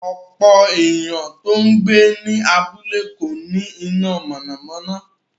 Ọ̀pọ̀ èèyàn tó ń gbé ní abúlé kò ní iná mọ̀nàmọ́ná